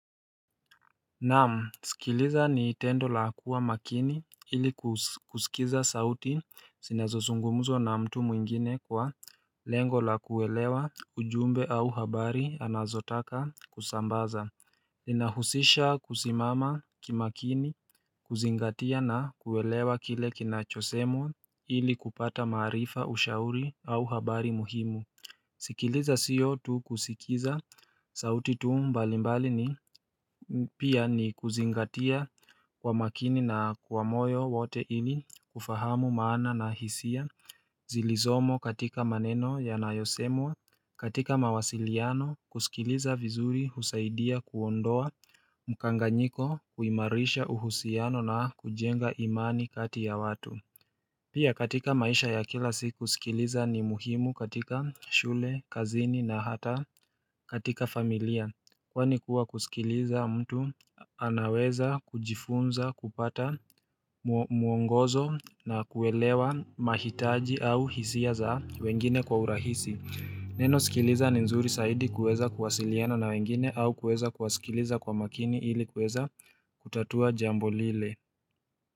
Naam sikiliza ni tendo la kuwa makini ili kusikiza sauti sinazo sungumzwa na mtu mwingine kwa lengo la kuelewa ujumbe au habari anazo taka kusambaza Linahusisha kusimama kimakini kuzingatia na kuelewa kile kinachosemwa ili kupata maarifa ushauri au habari muhimu sikiliza sio tu kusikiza sauti tu mbalimbali ni pia ni kuzingatia kwa makini na kwa moyo wote ili kufahamu maana na hisia Zilizomo katika maneno yanayosemwa katika mawasiliano kusikiliza vizuri husaidia kuondoa mkanganyiko kuimarisha uhusiano na kujenga imani kati ya watu Pia katika maisha ya kila siku sikiliza ni muhimu katika shule, kazini na hata katika familia Kwani kuwa kusikiliza mtu anaweza kujifunza kupata muongozo na kuelewa mahitaji au hisia za wengine kwa urahisi Neno sikiliza ni nzuri saidi kuweza kuwasiliana na wengine au kuweza kuwasikiliza kwa makini ili kuweza kutatua jambo lile.